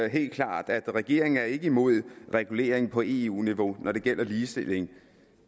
helt klart at regeringen ikke er imod regulering på eu niveau når det gælder ligestilling